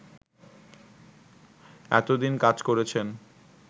এতোদিন কাজ করেছেন